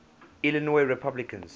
illinois republicans